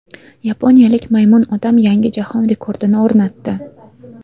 Yaponiyalik Maymun odam yangi jahon rekordini o‘rnatdi.